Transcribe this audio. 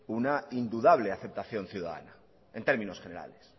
una indudable aceptación ciudadana en términos generales